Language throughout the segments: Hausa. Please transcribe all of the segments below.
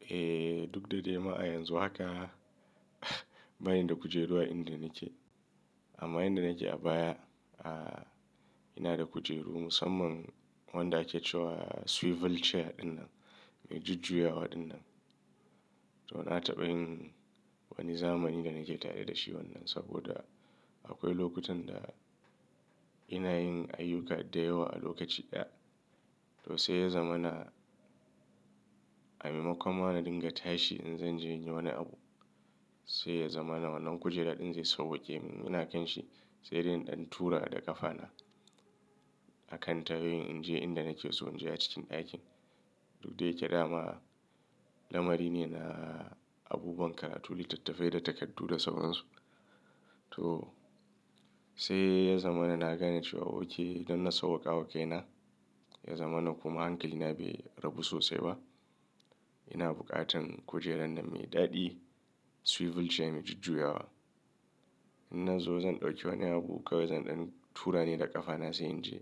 Eh, duk da dai ma a yanzu haka bani da kujeru a inda nake. Amma inda nake a baya, ina da kujeru musamman wanda ake cewa swivel chair ɗinnan mai jujjuyawa ɗinnan. To na taɓa yin wani zamani da nake tare da shi wannan saboda akwai lokutan da ina yin ayyuka da yawa a lokaci ɗaya. To sai ya zama na a maimakon ma na dinga tashi in zan je in yi wani abu, sai ya zama wannan kujera ɗin zai sauƙe min. Ina kan shi sai dai in ɗan tura da ƙafa na a kan ta yauyin in je inda nake so in je a cikin ɗakin. Duk da yake dama lamari ne na abubuwan karatu, littattafai da takardu da sauran su. To sai ya zama na nagane cewa oke idan na sauƙa wa kai na ya zama na kuma hankili na bai rabu sosai ba. Ina buƙatan kujerar nan mai daɗi swivel chair mai jujjuyawa. In na zo zan ɗauki wani abu kawai zan ɗan tura ne da ƙafa na sai in je.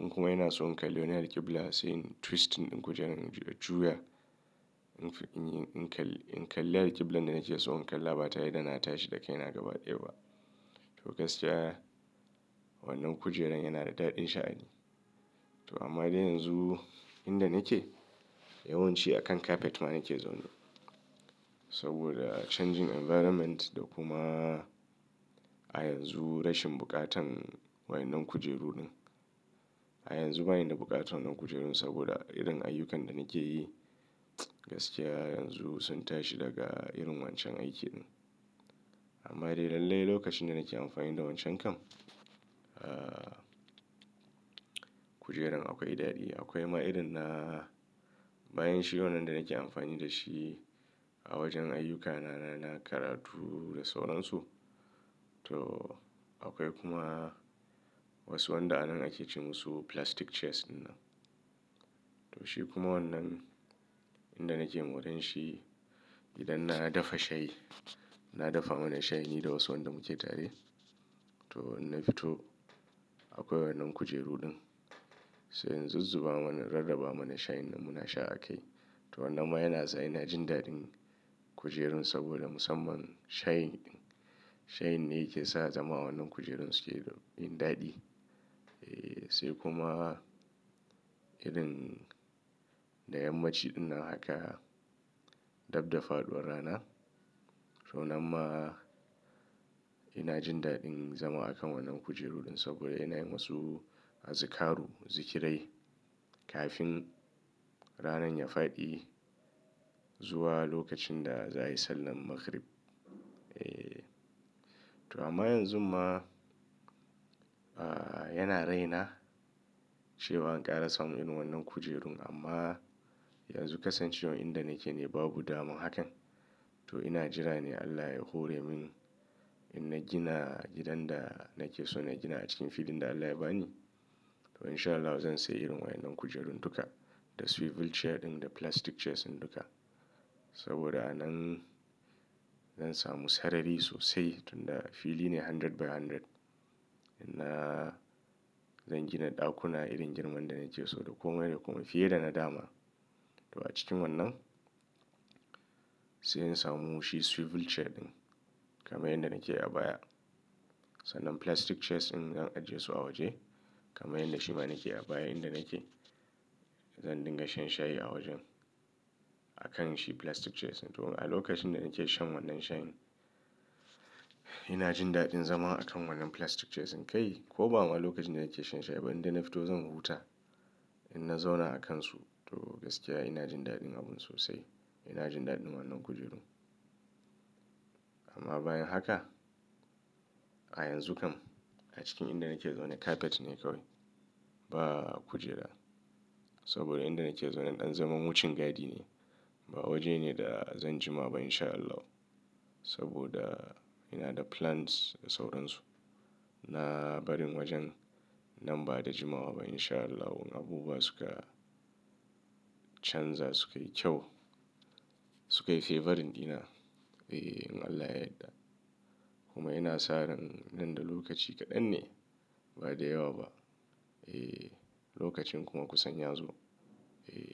In kuma ina so in kalli wani alƙibla sai in twisting ɗin kujerar na juya. In kalli alƙiblan da nake so in kalla ba tayi da na tashi da kai na gaba ɗaya ba. To gaskiya wannan kujerar yana da daɗin sha'ani. To amma dai yanzu inda nake yawanci a kan kafet ma nake zaune. Saboda changing environment da kuma a yanzu rashin buƙatan waye nan kujeru ɗin. A yanzu bani da buƙatar wannan kujeru ɗin saboda irin ayyukan da nake yi mts gaskiya yanzu sun tashi daga irin wancan aikin ɗin. Amma dai lallai lokacin da nake amfani da wancan kam kujeran akwai daɗi. Akwai ma irin na bayan shi wannan da nake amfani da shi a wajen ayyukana na karatu da sauran su. To akwai kuma wasu wanda anan ake ce musu plastic chairs ɗinnan. To shi kuma wannan inda nake moranshi shi idan na dafa shayi, na dafa mana shayi ni da wasu wanda muke tare. To in na fito akwai wannan kujeru ɗin sai in zuzzuba mana, rarraba mana shayin da muna sha a kai. To wannan ma yana sa ina jin daɗin kujerun saboda musamman shayin ɗin. Shayin ne yake sa zama wannan kujerun suke yin daɗi. Eeh, sai kuma irin da yammaci ɗinnan haka dabda fa uwar rana. To wannan ma ina jin daɗin zama a kan wannan kujeru ɗin saboda ina yin wasu azikaru, zikirai kafin rana ya faɗi zuwa lokacin da za a yi sallar maghrib. Eeh, to amma yanzu ma a yana raina cewa an ƙara samu irin wannan kujerun amma yanzu kasan cewa inda nake ne babu damar hakan. To ina jira ne Allah ya hore min in na gina gidan da nake so na gina a cikin filin da Allah ya ba ni. To in sha Allahu zan sayi irin waye nan kujerun duka da swivel chair ɗin da plastic chairs ɗin duka. Saboda anan zan samu sarari sosai tunda fili ne hundred by hundred. In na zan gina ɗakuna irin girman da nake so da komai da komai fiye da na dama. To a cikin wannan sai in samu shi swivel chair ɗin kamar yadda nake a baya. Sannan plastic chairs din zan ajiye su a waje kamar yadda shi ma nake a baya inda nake zan dinga shan shayi a wajen a kan shi plastic chairs ɗin. To a lokacin da nake shan wannan shayin ina jin daɗin zama a kan wannan plastic chairs ɗin kai. Ko ba ma lokacin da nake shan shayi ba idan na fito zan huta in na zauna a kansu. To gaskiya ina jin daɗin abun sosai. Ina jin daɗin wannan kujeru. Amma bayan haka a yanzu kam a cikin inda nake zaune kafet ne kawai ba kujera. Saboda inda nake zaune ɗan zaman wucin gadi ne ba waje ne da zan jima ba in sha Allahu. Saboda ina da plans da sauran su na barin wajen nan ba da jimawa ba in sha Allahu abubuwa suka chanza su kai kyau su kai feverin ina. Eeh in Allah ya yadda. Kuma ina sa ran nan da lokaci kaɗan ne ba da yawa ba. Eeh lokacin kuma kusan ya zo. Eeh.